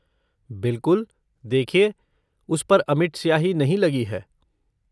बिलकुल। देखिए, उस पर अमिट स्याही नहीं लगी है।